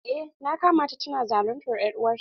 Eh na kama ta tana zaluntar er'uwar ta.